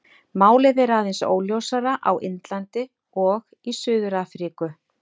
Málið er aðeins óljósara á Indlandi og í Suður-Afríku.